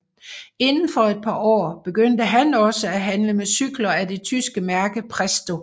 Indenfor et par år begyndte han også at handle med cykler af det tyske mærke Presto